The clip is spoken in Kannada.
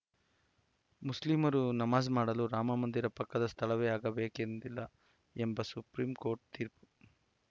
ಮುಸ್ಲಿಮರು ನಮಾಜ್‌ ಮಾಡಲು ರಾಮಮಂದಿರ ಪಕ್ಕದ ಸ್ಥಳವೇ ಆಗಬೇಕೆಂದಿಲ್ಲ ಎಂಬ ಸುಪ್ರೀ ಕೋರ್ಟ್‌ ತೀರ್ಪು